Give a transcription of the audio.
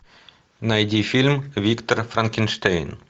найди фильм виктор франкенштейн